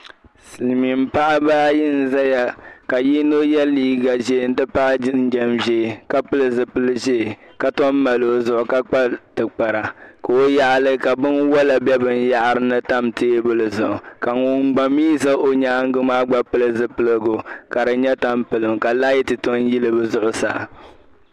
Silimiin Paɣa ayi n zaya ka yino ye liiga ʒee nti pahi jinjɛm ʒee ka pili zupil'ʒee ka tom mali o zuɣu ka kpa tibkpara o yaɣili ka binwala bɛ binyɛri zuɣu tam teebuli zuɣu ka ŋuni gba mi za o nyaaŋa maa gba pili zupiligu ka di nya tampilim ka laati tomi yili zuɣusaa.